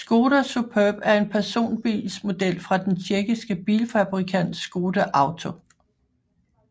Škoda Superb er en personbilsmodel fra den tjekkiske bilfabrikant Škoda Auto